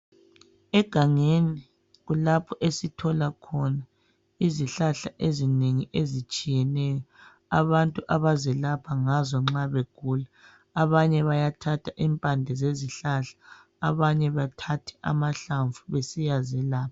Egangeni kulapho esithola khona izihlahla ezinengi ezitshiyeneyo abantu abazelapha ngazo nxa begula. Abanye bayathatha impande zezihlahla, abanye bethathe amahlamvu besiyazelapha.